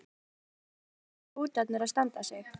Magnús: Hvernig eru hrútarnir að standa sig?